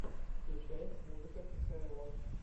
включай музыка кхл